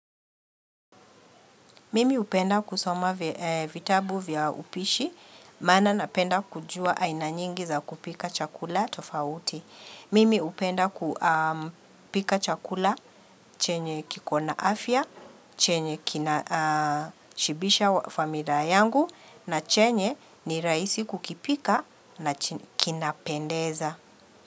Mimi upenda kusoma vitabu vya upishi, maana napenda kujuwa aina nyingi za kupika chakula tofauti. Mimi upenda kupika chakula chenye kikona afya, chenye kina shibisha familia yangu na chenye ni rahisi kukipika na kinapendeza.